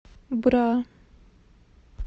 бра